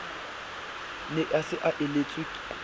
ne a se a elelletswe